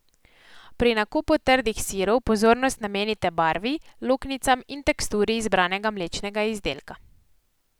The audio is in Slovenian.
Pri nakupu trdih sirov pozornost namenite barvi, luknjicam in teksturi izbranega mlečnega izdelka.